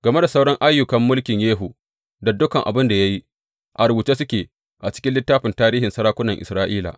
Game da sauran ayyukan mulkin Yehu, da dukan abin da ya yi, a rubuce suke a cikin littafin tarihin sarakunan Isra’ila.